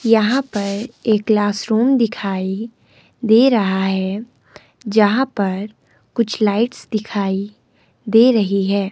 यहां पर एक क्लासरूम दिखाई दे रहा है यहां पर कुछ लाइट्स दिखाई दे रही है।